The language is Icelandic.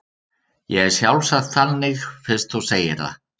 Ég er sjálfsagt þannig fyrst þú segir það.